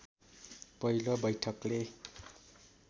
पहिलो बैठकले